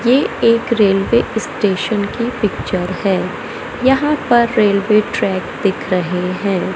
ये एक railway station की पिक्चर है यहां पर रेल्वे ट्रैक दिख रहे है।